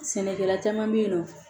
Sɛnɛkɛla caman bɛ yen nɔ